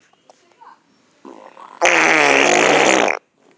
Þorbjörn: Og þau liggja ekki fyrir?